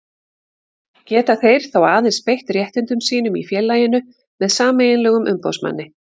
Geta þeir þá aðeins beitt réttindum sínum í félaginu með sameiginlegum umboðsmanni.